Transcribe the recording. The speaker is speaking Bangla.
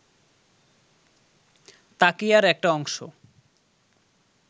তাকিয়ার একটা অংশ